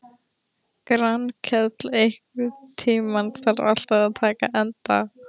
Grankell, einhvern tímann þarf allt að taka enda.